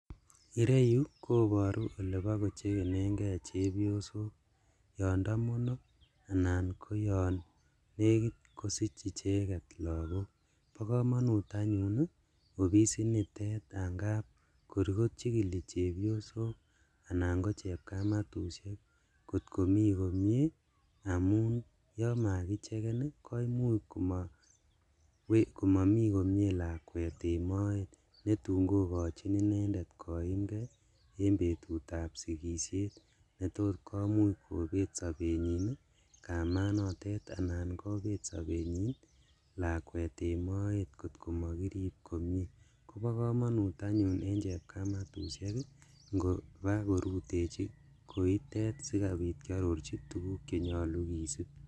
Igeru yu koparu ole pa kocheen gee chepyosok yan tamono anan ko yan nekit kosich icheget lagook. Pa kamanut anyun ofisinitet a ngap kor kochigili chepyosok anan ko chepkametushek ngot ko mi komye amu yan komakicheken koimuch komami komye lakwet en moet ne tun ko kachin inendet koimgei en petut ap sikishet ne tos komuch kopet sapetnyin kamanotet anan ko pet saptnyin lakwet en moet ngot ko makirip komye. Ko pa kamanut anyun eng' chepkametushek i, ngopa korutechi koitet si kopiit kiaroroji tuguuk ne nyalu kisuup